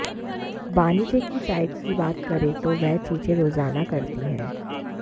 बानी जे की डाइट की बात करें तो वह चीजें रोजाना करती है